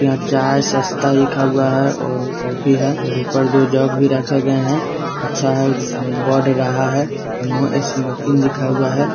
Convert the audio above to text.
यहाँ चाय सस्ता लिखा हुआ है और कॉफ़ी है और ऊपर जो जग भी रखें गए हैं अच्छा है जो उसमें बढ़ रहा है और नो स्मोकिंग लिखा हुआ है।